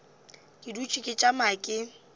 ke dutše ke tšama ke